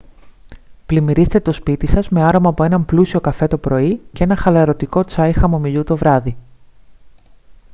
πλημμυρίστε το σπίτι σας με άρωμα από έναν πλούσιο καφέ το πρωί και ένα χαλαρωτικό τσάι χαμομηλιού το βράδυ